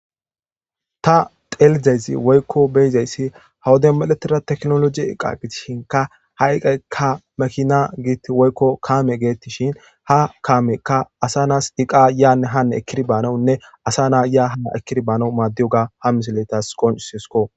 ta telizayzi woykko beyizayssi hawode miletira teknoloji iqa gitishinka ha iqakka makina giitti woykko kaame geettishin ha kaamekka asa naas iqa yaanne hane ekiri baanawunne asa naa yaa hana ekiri baanawu maaddiyoga ha miseletas qoncisesko